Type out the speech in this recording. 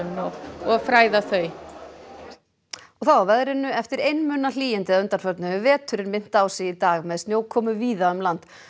og fræða þau og þá að veðri eftir einmuna hlýindi að undanförnu hefur veturinn minnt á sig í dag með snjókomu víða um land